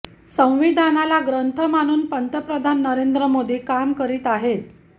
संविधानाला ग्रंथ मानून पंतप्रधान नरेंद्र मोदी काम करीत आहेत